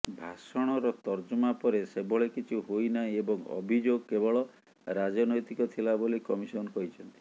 ଭାଷଣର ତର୍ଜମା ପରେ ସେଭଳି କିଛି ହୋଇନାହିଁ ଏବଂ ଅଭିଯୋଗ କେବଳ ରାଜନ୘ତିକ ଥିଲା ବୋଲି କମିସନ କହିଛନ୍ତି